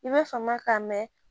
I b'a fama k'a mɛn